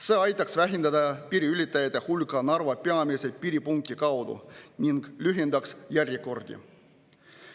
See aitaks vähendada piiriületajate hulka Narva peamise piiripunkti kaudu ning lühendaks järjekordi.